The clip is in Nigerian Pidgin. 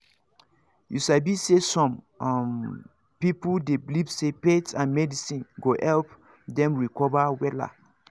you sabi say some um people dey believe say faith and medicine go help them recover wella